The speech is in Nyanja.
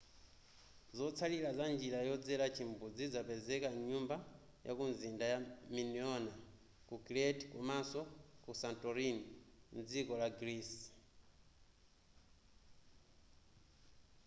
zotsalira za mnjira yodzera chimbudzi zapezeka mnyumba yakumizinda ya minoan ku crete komanso ku santorini mdziko la greece